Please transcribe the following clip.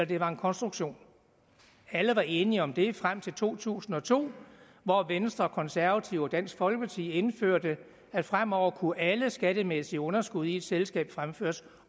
det var en konstruktion alle var enige om det frem til to tusind og to hvor venstre konservative og dansk folkeparti indførte at fremover kunne alle skattemæssige underskud i et selskab fremføres